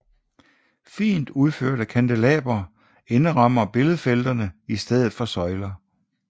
Fint udførte kandelabre indrammer billedfelterne i stedet for søjler